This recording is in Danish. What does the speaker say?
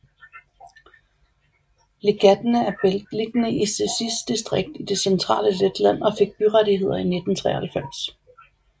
Līgatne er beliggende i Cēsis distrikt i det centrale Letland og fik byrettigheder i 1993